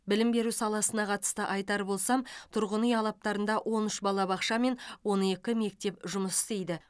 білім беру саласына қатысты айтар болсам тұрғын үй алабтарында он үш бала бақша мен он екі мектеп жұмыс істейді